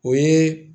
O ye